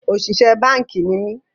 Òṣìṣẹ́ báànkì ni mí